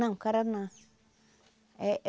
Não, caraná éh.